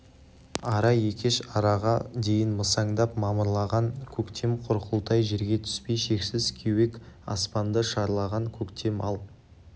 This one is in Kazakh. ара екеш араға дейін масаңдап мамырлаған көктем құрқылтай жерге түспей шексіз кеуек аспанды шарлаған көктем ал